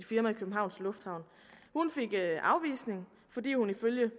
firma i københavns lufthavn hun fik afvisning fordi hun ifølge